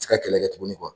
Ti ka kɛlɛ kɛ tuguni